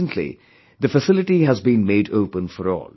Recently, the facility has been made open for all